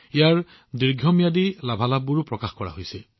ইয়াৰ দীৰ্ঘম্যাদী লাভালাভবোৰো সন্মুখলৈ আহিছে